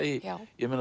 ég